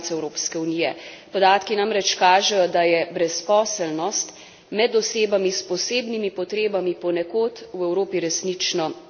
Podatki namreč kažejo, da je brezposelnost med osebami s posebnimi potrebami ponekod v Evropi resnično zelo velik problem.